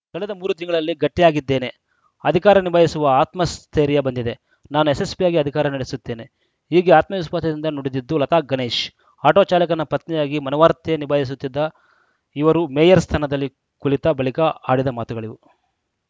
ಕಳೆದ ಮೂರು ತಿಂಗಳಲ್ಲಿ ಗಟ್ಟಿಯಾಗಿದ್ದೇನೆ ಅಧಿಕಾರ ನಿಭಾಯಿಸುವ ಆತ್ಮಸ್ಥೈರ್ಯ ಬಂದಿದೆ ನಾನು ಯಶಸ್ವಿಯಾಗಿ ಅಧಿಕಾರ ನಡೆಸುತ್ತೇನೆ ಹೀಗೆ ಆತ್ಮವಿಶ್ವಾಸದಿಂದ ನುಡಿದಿದ್ದು ಲತಾ ಗಣೇಶ್‌ ಆಟೋ ಚಾಲಕನ ಪತ್ನಿಯಾಗಿ ಮನೆವಾರ್ತೆ ನಿಭಾಯಿಸುತ್ತಿದ್ದ ಇವರು ಮೇಯರ್‌ ಸ್ಥಾನದಲ್ಲಿ ಕುಳಿತ ಬಳಿಕ ಆಡಿದ ಮಾತುಗಳಿವು